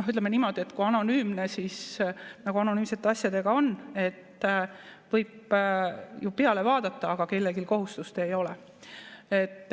ütleme niimoodi, et kui on anonüümne, siis nagu anonüümsete asjadega on, et võib ju peale vaadata, aga kellelgi kohustust ei ole.